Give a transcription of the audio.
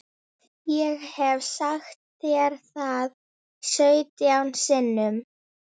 Bragð er að þá barnið finnur!